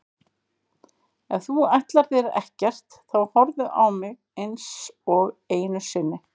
Ef þú ætlar þér ekkert þá horfðu ekki á mig einsog einu sinni.